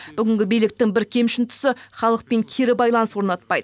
бүгінгі биліктің бір кемшін тұсы халықпен кері байланыс орнатпайды